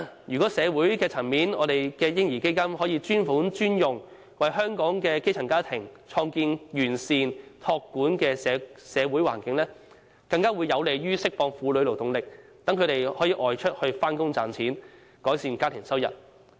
如果社會層面的"嬰兒基金"可以專款專用，為香港的基層家庭創建完善託管的社會環境，將更有利釋放婦女勞動力，讓她們可以外出工作賺錢，增加家庭收入。